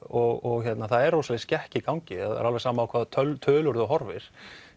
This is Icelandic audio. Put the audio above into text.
og það er rosaleg skekkja í gangi alveg sama á hvaða tölur þú horfir